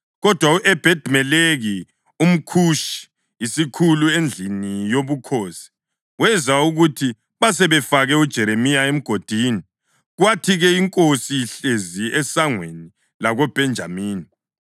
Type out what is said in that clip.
Kodwa u-Ebhedi-Meleki, umKhushi, isikhulu endlini yobukhosi, wezwa ukuthi basebefake uJeremiya emgodini. Kwathi-ke inkosi ihlezi eSangweni lakoBhenjamini,